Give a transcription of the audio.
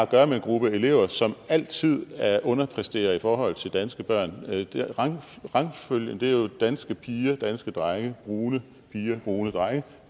gøre med en gruppe elever som altid underpræsterer i forhold til danske børn rangfølgen er jo danske piger danske drenge brune piger brune drenge